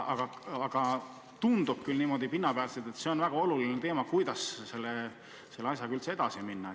Aga tundub küll, et see on väga oluline, kuidas selle asjaga üldse edasi minna.